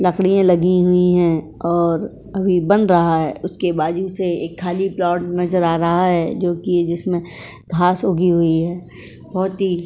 लकड़ियाँ लगी हुई हैं और अभी बन रहा है। उसके बाजू से एक खाली प्लॉट नजर आ रहा है जोकि जिसमें घाँस उगी हुई है| बहोत ही --